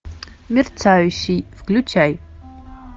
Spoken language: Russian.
мерцающий включай